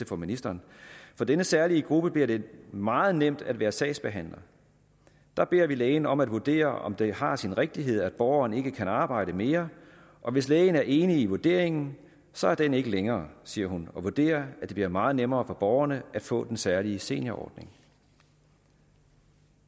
for ministeren for denne særlige gruppe bliver det meget nemt at være sagsbehandler der beder vi lægen om at vurdere om det har sin rigtighed at borgeren ikke kan arbejde mere og hvis lægen er enig i vurderingen så er den ikke længere siger hun og vurderer at det bliver meget nemmere for borgerne at få den særlige seniorordning